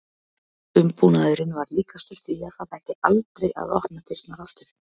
Umbúnaðurinn var líkastur því að það ætti aldrei að opna dyrnar aftur.